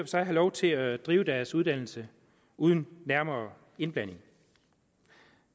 sig have lov til at drive deres uddannelse uden nærmere indblanding